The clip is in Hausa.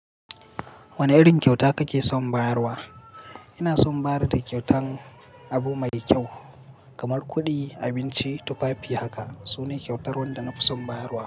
Wane irin kyauta kake son bayarwa? Ina son ba da kyautan abu mai kyau kamar kuɗi, abinci, tufafi haka. Sune kyautar wanda na fi son bayarwa.